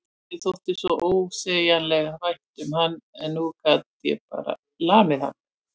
Mér þótti svo ósegjanlega vænt um hann en nú gat ég bara lamið hann.